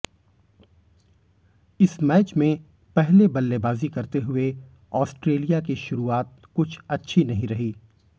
इस मैच में पहले बल्लेबाजी करते हुए ऑस्ट्रेलिया की शुरुआत कुछ अच्छी नहीं रही